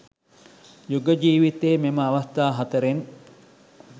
යුග ජීවිතයේ මෙම අවස්ථා හතරෙන්